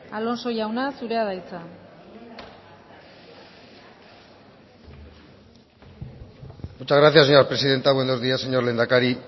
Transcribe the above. alonso jauna zurea da hitza muchas gracias señora presidenta buenos días señor lehendakari